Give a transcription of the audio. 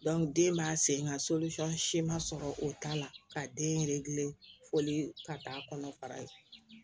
den b'a sen ŋa si ma sɔrɔ o ta la ka den foli ka taa'a kɔnɔ fara